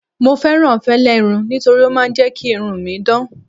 mo fẹràn fẹlẹ irun nitori o ma n je ki irun mi dan